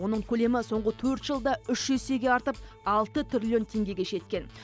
оның көлемі соңғы төрт жылда үш есеге артып алты триллион теңгеге жеткен